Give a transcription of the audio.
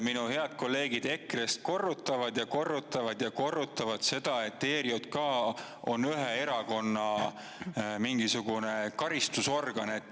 Minu head kolleegid EKRE‑st korrutavad ja korrutavad ja korrutavad seda, et ERJK on ühe erakonna mingisugune karistusorgan.